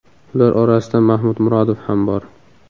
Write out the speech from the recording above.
Ular orasida Mahmud Murodov ham bor.